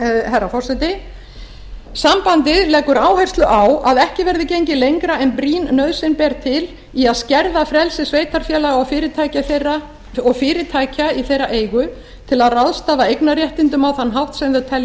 herra forseti sambandið leggur áherslu á að ekki verði gengið lengra en brýn nauðsyn ber til í að skerða frelsi sveitarfélaga og fyrirtækja í þeirra eigu til að ráðstafa eignarréttindum á þann hátt sem þau telja